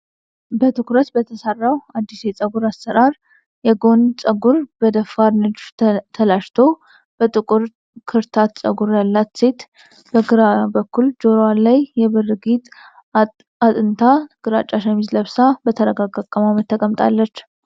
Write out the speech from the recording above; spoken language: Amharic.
በትኩረት በተሰራው አዲስ የፀጉር አሠራር፣ የጎን ፀጉር በደፋር ንድፍ ተላጭቶ በጥቁር ክርታታ ጸጉር ያላት ሴት በግራ በኩል በጆሮዋ ላይ የብር ጌጥ አጥንታ፣ ግራጫ ሸሚዝ ለብሳ፣ በተረጋጋ አቀማመጥ ተቀምጣለች።